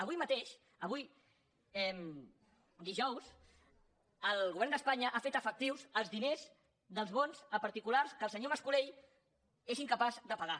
avui mateix avui dijous el govern d’espanya ha fet efectius els diners dels bons a particulars que el senyor mas colell és incapaç de pagar